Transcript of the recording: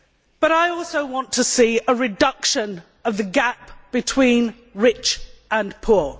But I also want to see a reduction in the gap between rich and poor.